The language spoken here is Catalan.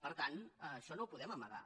per tant això no ho podem amagar